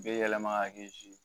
Be yɛlɛma